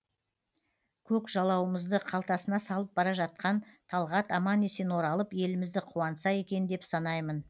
көк жалауымызды қалтасына салып бара жатқан талғат аман есен оралып елімізді қуантса екен деп санаймын